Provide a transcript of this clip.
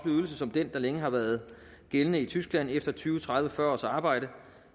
ydelse som den der længe har været gældende i tyskland efter tyve tredive fyrre års arbejde